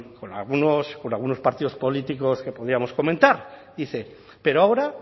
con algunos partidos políticos que podíamos comentar dice pero ahora